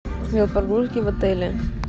в отеле